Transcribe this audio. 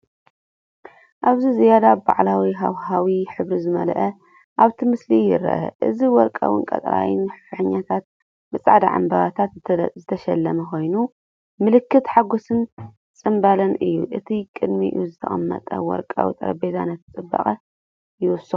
ኣብዚ ዝያዳ በዓላዊ ሃዋህው፡ ሕብሪ ዝመልአ፡ ኣብቲ ምስሊ ይርአ። እዚ ወርቃውን ቀጠልያን ፍሕኛታት ብጻዕዳ ዕምባባታት ዝተሰለመ ኮይኑ፡ ምልክት ሓጎስን ጽምብልን እዩ፤ እቲ ቅድሚኡ ዝተቐመጠ ወርቃዊ ጠረጴዛ ነቲ ጽባቐ ይውስኸሉ።